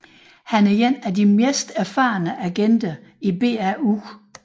Han er en af de mest erfarne agenter i BAU